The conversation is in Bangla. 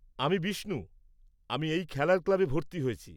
আমি বিষ্ণু, আমি খেলার ক্লাবে ভর্তি হয়েছি।